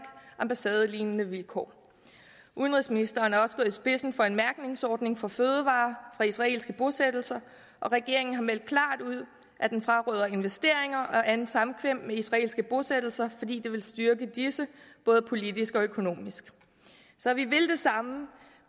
ambassadelignende vilkår udenrigsministeren er også i spidsen for en mærkningsordning for fødevarer fra israelske bosættelser og regeringen har meldt klart ud at den fraråder investeringer og andet samkvem med israelske bosættelser fordi det vil styrke disse både politisk og økonomisk så vi vil det samme